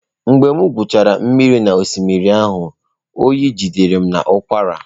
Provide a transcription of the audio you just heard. Mgbe m gwuchara mmiri n’osimiri ahụ, oyi jidere m na ụkwara.